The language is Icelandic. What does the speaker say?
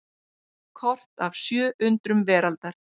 Kort af sjö undrum veraldar.